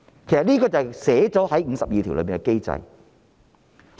這是寫在第五十二條的機制。